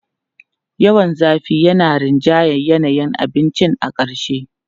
Yawan zafi yana rinjayar yanayin abincin a ƙarshe.